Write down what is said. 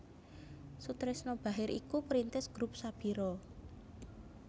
Soetrisno Bachir iku perintis Grup Sabira